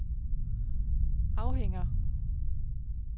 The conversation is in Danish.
afhænger